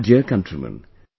My dear countrymen,